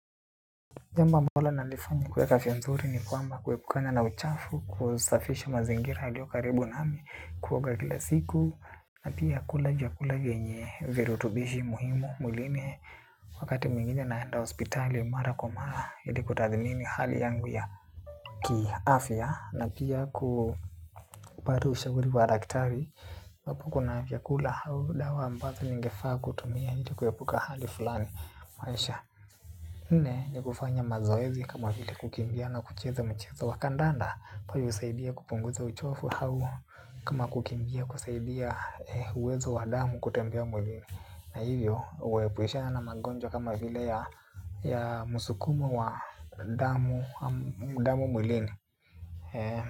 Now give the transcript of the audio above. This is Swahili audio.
Jambo ambalo nalifanya kueka afia nzuri ni kwamba kuepukana na uchafu kusafisha mazingira yaliokaribu nami kuoga kila siku na pia kula vyakula vyenye virutubishi muhimu mwilini wakati mwngine naenda hospitali mara kwa mara ili kutadhimini hali yangu ya kiafya na pia kupata ushauri wa daktari iwapo kuna vyakula au dawa ambazo ningefaa kutumia ili kuepuka hali fulani maisha nne ni kufanya mazoezi kama vile kukimbia na kucheza mchezo wa kandanda. Kwa usaidia kupunguza uchovu hau kama kukimbia kusaidia uwezo wa damu kutembea mwilini. Na hivyo uwepushana na magonjwa kama vile ya musukumo wa damu mwilini.